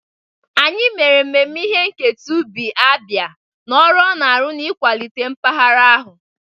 Anyị mere mmemme ihe nketa ubi Abia na ọrụ ọ na-arụ n'ịkwalite mpaghara ahụ.